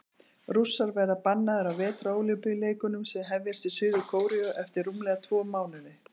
Rússar verða bannaðir á Vetrarólympíuleikunum sem hefjast í Suður-Kóreu eftir rúmlega tvo mánuði.